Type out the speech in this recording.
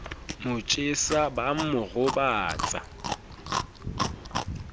mo jesa ba mo robatsa